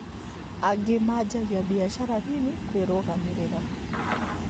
Angĩ manjagia biacara nini kwĩrũgamĩrĩra